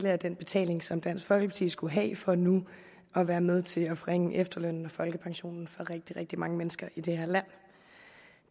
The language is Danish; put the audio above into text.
af den betaling som dansk folkeparti skulle have for nu at være med til at forringe efterlønnen og folkepensionen for rigtig rigtig mange mennesker i det her land